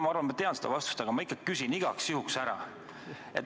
Ma arvan, et tean seda vastust, aga igaks juhuks ikkagi küsin.